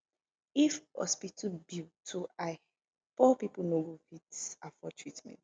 if hospital bill too high poor pipo no fit afford treatment